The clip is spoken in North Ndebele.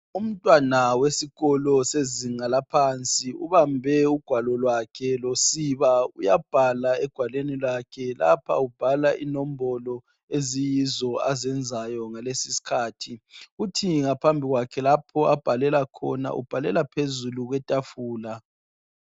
Umntwana wesikolo sezinga laaphansi ubambe ugwalo lwakhe losiba uyabhala ebhalweni lwakhe lakhe ubhala inombolo eziyizo azenzayo ngaleso isikhathi uthi ngaphambi kwakhe lapho abhalela khona ubhalela phezulu kwetafula